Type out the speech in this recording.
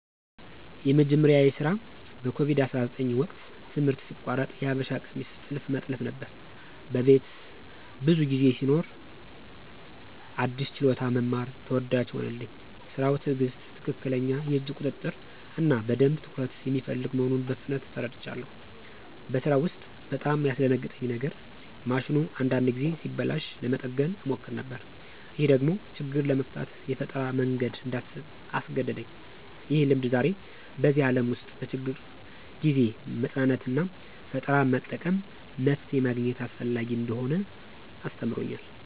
የመጀመሪያዬ ስራ በኮቪድ-19 ወቅት ትምህርት ሲቋረጥ የሀበሻ ቀሚስ ጥልፍ መጥለፍ ነበር። በቤት ብዙ ጊዜ ስኖር አዲስ ችሎታ መማር ተወዳጅ ሆነልኝ። ስራው ትዕግሥት፣ ትክክለኛ የእጅ ቁጥጥር እና በደንብ ትኩረት የሚፈልግ መሆኑን በፍጥነት ተረድቻለሁ። በስራው ውስጥ በጣም ያስደነግጠኝ የነገር ማሽኑ አንዳንድ ጊዜ ሲበላሽ ለመጠገን እሞክር ነበር። ይህ ደግሞ ችግር ለመፍታት የፈጠራ መንገድ እንዳስብ አስገደደኝ። ይህ ልምድ ዛሬ በዚህ ዓለም ውስጥ በችግር ጊዜ መጽናናትና ፈጠራ በመጠቀም መፍትሄ ማግኘት አስፈላጊ እንደሆነ አስተምሮኛል።